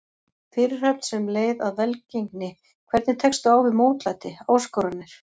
Fyrirhöfn sem leið að velgengni Hvernig tekstu á við mótlæti, áskoranir?